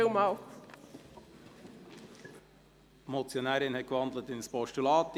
Die Motionärin hat in ein Postulat gewandelt.